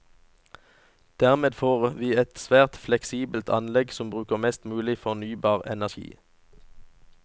Dermed får vi et svært fleksibelt anlegg som bruker mest mulig fornybar energi.